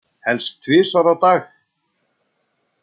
Helst tvisvar á dag.